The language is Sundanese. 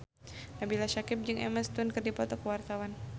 Nabila Syakieb jeung Emma Stone keur dipoto ku wartawan